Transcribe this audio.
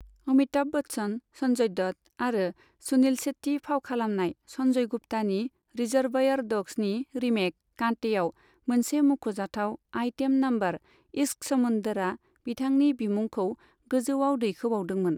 अमिताभ बच्चन, सन्जय दत्त आरो सुनील शेट्टी फाव खालामनाय सन्जय गुप्तानि 'रिजर्वायर ड'ग्स'नि रीमेक 'कांटे'आव मोनसे मुख'जाथाव आइटेम नम्बर 'इश्क समुन्दर'आ बिथांनि बिमुंखौ गोजौआव दैखोबावदोंमोन।